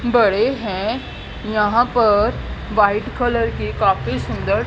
बड़े हैं यहां पर वाइट कलर की काफी सुंदर--